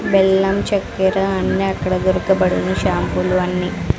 బెల్లం చక్కెర అన్ని అక్కడ దొరకబడును షాంపూలు అన్ని.